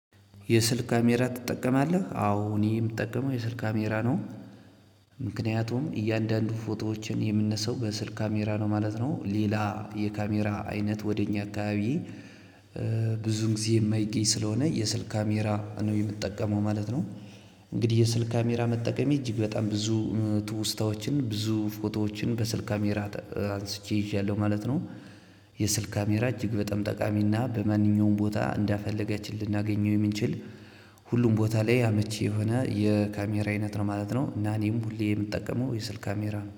የስልክ ካሜራ ትጠቀማለህ? አዎ እኔ የምጠቀመው የስልክ ካሜራ ነው። ምክንያቱም እያንዳንዱ ፎቶዎችን የምነሳው በስልክ ካሜራ ነው ማለት ነው። ሌላ የካሜራ አይነት ወደ እኛ አካባቢ ጊዜ የማይገኝ ስለሆነ የስልክ ካሜራ ነው የምጠቀመው ማለት ነው። እንግዲህ የስልክ ካሜራ መጠቀመ እጅግ በጣም ብዙ ትውስታዎችን ብዙ ፎቶዎችን በስልክ ካሜራ አንስቼ ይዣለሁ ማለት ነው። የስልክ ካሜራ እጅግ በጣም ጠቃሚና በማንኛውም ቦታ እንደፈለግን ልናገኘው የምንችል ሁሉም ቦታ ላይ አመቺ የሆነ የካሜራ አይነት ነው ማለት ነው። እና እኔም ሁሌ የምጠቀመው የስልክ ካሜራ ነው።